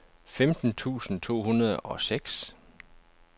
femten tusind to hundrede og seks